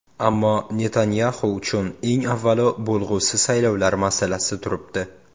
Ammo Netanyaxu uchun, eng avvalo, bo‘lg‘usi saylovlar masalasi turibdi.